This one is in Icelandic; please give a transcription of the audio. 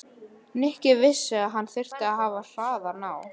Nikki vissi að hann þyrfti að hafa hraðann á.